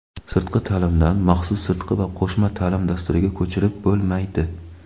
Sirtqi taʼlimdan maxsus sirtqi va qo‘shma taʼlim dasturiga ko‘chirib bo‘lmaydi.